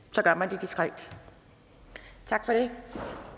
så gør man det diskret tak for det